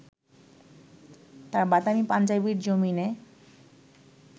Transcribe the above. তাঁর বাদামি পাঞ্জাবির জমিনে